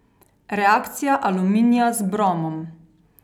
Reakcija aluminija z bromom.